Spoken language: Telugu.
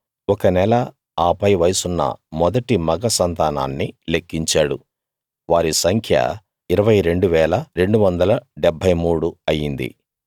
ఒక నెల ఆ పై వయసున్న మొదటి మగ సంతానాన్ని లెక్కించాడు వారి సంఖ్య 22 273 అయింది